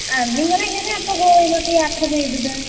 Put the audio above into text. ആഹ്. നിങ്ങൾ എങ്ങനെയാ അപ്പോ ഗോവയിലേക്ക് യാത്ര ചെയ്തത്.